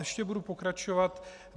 Ještě budu pokračovat.